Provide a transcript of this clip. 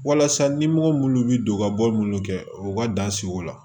Walasa ɲɛmɔgɔ munnu bɛ don ka bɔ minnu kɛ u ka dan sigiw la